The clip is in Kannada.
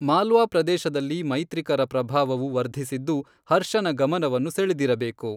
ಮಾಲ್ವಾ ಪ್ರದೇಶದಲ್ಲಿ ಮೈತ್ರಿಕರ ಪ್ರಭಾವವು ವರ್ಧಿಸಿದ್ದು ಹರ್ಷನ ಗಮನವನ್ನು ಸೆಳೆದಿರಬೇಕು.